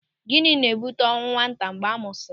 Gịnị na-ebute ọnwụ nwata mgbe a mụsịrị?